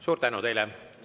Suur tänu teile!